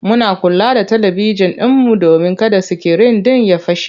Muna kula da talibijin ɗinmu domin kada sikirin ɗin ya fashe.